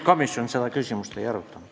Komisjon seda küsimust ei arutanud.